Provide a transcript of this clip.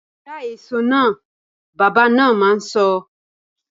Ja èso náà! Bàbá na ma sọ